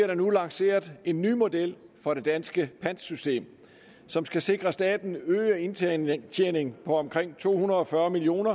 der nu lanceret en ny model for det danske pantsystem som skal sikre staten en øget indtjening indtjening på omkring to hundrede og fyrre million